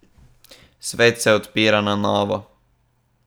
Svet se odpira na novo.